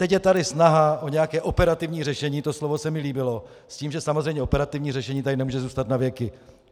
Teď je tady snaha o nějaké operativní řešení - to slovo se mi líbilo - s tím, že samozřejmě operativní řešení tady nemůže zůstat na věky.